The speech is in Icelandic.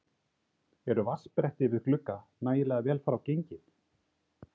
Eru vatnsbretti við glugga nægilega vel frá gengin?